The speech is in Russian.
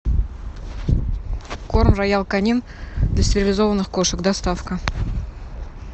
корм роял канин для стерилизованных кошек доставка